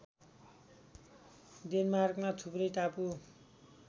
डेनमार्कमा थुप्रै टापु